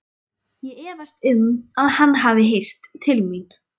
Ég efast um, að hann hafi heyrt til mín.